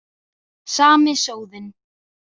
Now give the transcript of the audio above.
Sami sóðinn.